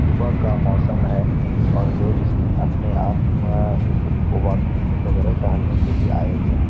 सुबह का मौसम है और लोग इसमे अपने आप वॉकिंग वैगरह टहलेने के लिए आए हुए हैं।